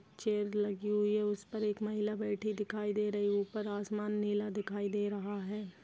Chair लगी हुई है उस पर एक महिला बैठी दिखाई दे रही ऊपर आसमान नीला दिखाई दे रहा है।